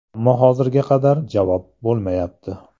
Ammo hozirga qadar javob bo‘lmayapti.